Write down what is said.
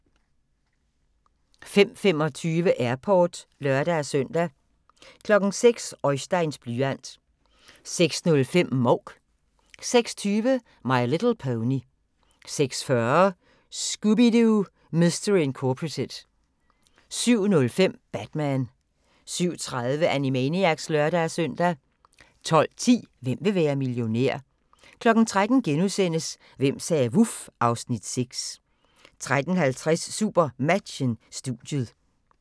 05:25: Airport (lør-søn) 06:00: Oisteins blyant 06:05: Mouk 06:20: My Little Pony 06:40: Scooby-Doo! Mystery Incorporated 07:05: Batman 07:30: Animaniacs (lør-søn) 12:10: Hvem vil være millionær? 13:00: Hvem sagde vuf? (Afs. 6)* 13:50: SuperMatchen: Studiet